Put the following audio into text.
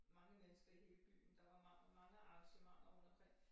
Mange mennesker i hele byen der var mange arrangementer rundtomkring